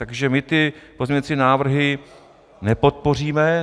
Takže my ty pozměňovací návrhy nepodpoříme.